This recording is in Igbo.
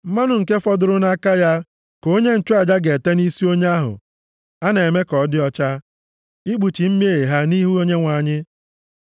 Mmanụ nke fọdụrụ nʼaka ya ka onye nchụaja ga-ete nʼisi onye ahụ a na-eme ka ọ dị ọcha, ikpuchi mmehie ha nʼihu Onyenwe anyị.